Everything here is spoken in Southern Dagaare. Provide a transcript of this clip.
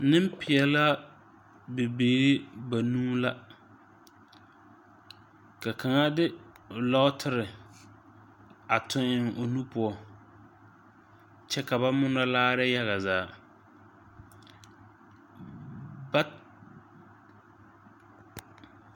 Neŋpeɛlaa bibiire banuu la ka kaŋa de o lɔɔtire a tuŋ eŋ o nu poɔ kyɛ ka ba munɔ laare yaga zaa ba.